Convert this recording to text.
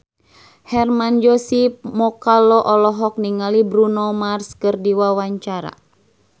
Hermann Josis Mokalu olohok ningali Bruno Mars keur diwawancara